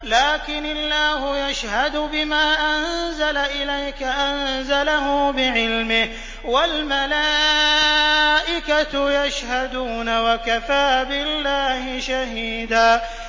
لَّٰكِنِ اللَّهُ يَشْهَدُ بِمَا أَنزَلَ إِلَيْكَ ۖ أَنزَلَهُ بِعِلْمِهِ ۖ وَالْمَلَائِكَةُ يَشْهَدُونَ ۚ وَكَفَىٰ بِاللَّهِ شَهِيدًا